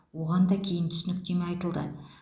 оған да кейін түсініктеме айтылды